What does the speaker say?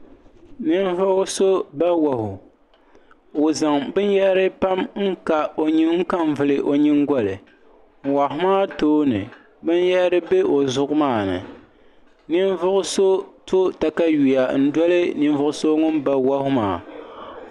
Ninvuɣuso ba wahu o zaŋ binyahari pam n ka n vili o nyingoli wahu maa tooni binyahari be o zuɣu maani ninvuɣuso to takawiya n doli ninvuɣuso ŋun ba wahu maa.